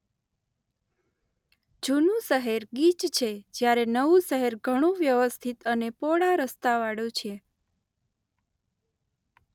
જુનું શહેર ગીચ છે જ્યારે નવું શહેર ઘણું વ્યવસ્થિત અને પહોળા રસ્તા વાળુ છે.